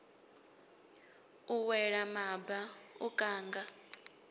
u wela maba u kanga